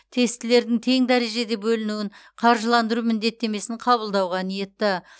тестілердің тең дәрежеде бөлінуін қаржыландыру міндеттемесін қабылдауға ниетті